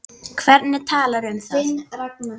Hverjir tala um það?